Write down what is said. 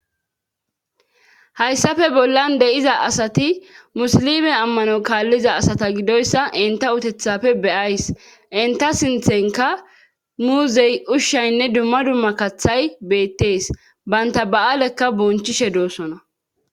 Hayssafe bollan de7iza asati musilime ammano kaalliza asata gidoyssa inta utethafe beyays inta sinthenka muuzey ushshaynne dumma dumma kathay beettees baynta ba7aalekka bonchishe doossona